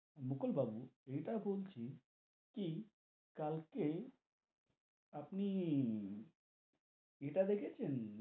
মুকুল বাবু ইটা বলছি, কি কালকে আপনি ইটা দেখেছেন,